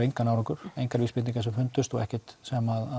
engan árangur engar vísbendingar sem fundust og ekkert sem